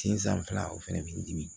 Sen san fila o fɛnɛ bi di dimi